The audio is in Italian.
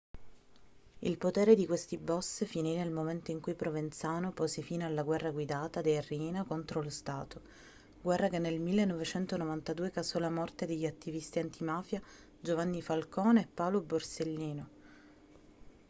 il potere di questi boss finì nel momento in cui provenzano pose fine alla guerra guidata dei riina contro lo stato guerra che nel 1992 causò la morte degli attivisti antimafia giovanni falcone e paolo borsellino